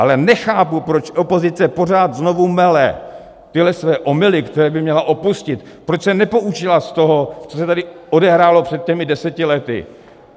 Ale nechápu, proč opozice pořád znovu mele tyhle své omyly, které by měla opustit, proč se nepoučila z toho, co se tady odehrálo před těmi deseti lety.